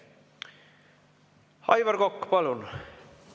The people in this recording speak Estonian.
Aivar Kokk, palun!